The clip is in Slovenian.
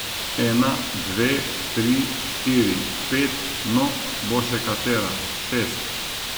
Ena, dve, tri, štiri, pet, no, bo še katera, šest.